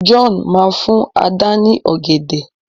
John má fún Àdá ni ògèdè.